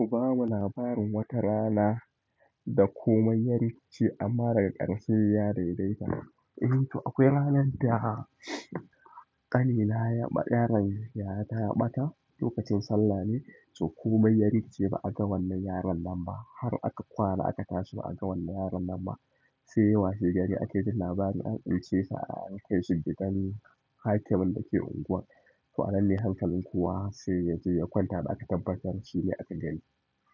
Ku bamu labarin wata rana da komai ya rikice amma daga ƙarshe ya daidaita. Eh, to akwai ranar da ƙanina yaron yayata ya ɓata lokacin sallah ne, to komai ya rikice ba a ga wannan yaron nan ba. Har aka kwana aka tashi ba a ga wannan yaron nan ba. Sai washe gari ake ji labarin an ɗauke sa an kai shi gidan hakimin da ke unguwar. To a nan ne hankalin kowa sai ya je ya kwanta da aka tabbatar shi ne aka gani.